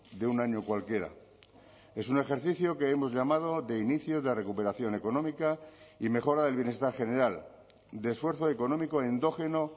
de un año cualquiera es un ejercicio que hemos llamado de inicio de recuperación económica y mejora del bienestar general de esfuerzo económico endógeno